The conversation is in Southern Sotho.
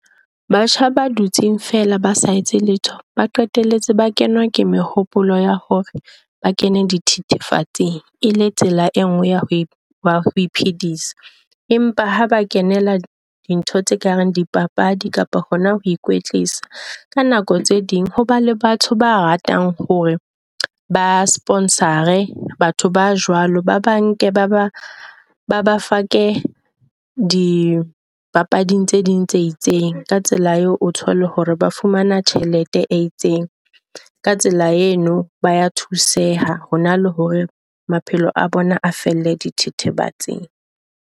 Batjha ba dutsing fela basa etse letho ba qetelle bana le mehopolo ya hore ba kene di thethefatsing. E le tsela engwe ya hore ya ho e iphedisa, empa ha ba kenela dintho tse kareng di papadi kapa hona ho ikwetlisa. Ka nako tse ding hona le batho ba ratang hore ba sponsor-e batho ba jwalo. Ba banke ba ba ba ba fake dipapading tse ding tse itseng ka tsela eo o thole hore ba fumana tjhelete e itseng, ka tsela yeno baya thuse ha hona le hore maphelo a bona a felle dithethefatsing.